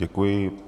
Děkuji.